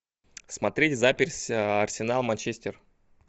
смотреть запись арсенал манчестер